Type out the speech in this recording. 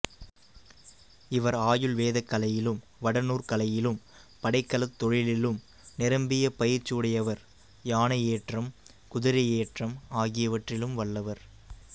இவர் ஆயுள் வேதக்கலையிலும் வடநூற்கலையிலும் படைக்கலத் தொழிலிலும் நிரம்பிய பயிற்சியுடையவர் யானையேற்றம் குதிரையேற்றம் ஆகியவற்றிலும் வல்லவர்